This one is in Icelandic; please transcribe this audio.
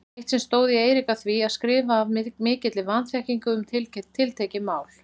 Eitt sinn stóð ég Eirík að því að skrifa af mikilli vanþekkingu um tiltekið mál.